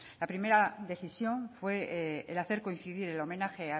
la primera decisión fue el hacer coincidir el homenaje